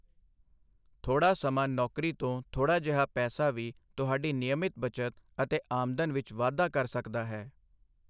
ਥੋੜਾ ਸਮਾਂ ਨੌਕਰੀ ਤੋਂ ਥੋੜ੍ਹਾ ਜਿਹਾ ਪੈਸਾ ਵੀ ਤੁਹਾਡੀ ਨਿਯਮਿਤ ਬੱਚਤ ਅਤੇ ਆਮਦਨ ਵਿੱਚ ਵਾਧਾ ਕਰ ਸਕਦਾ ਹੈ।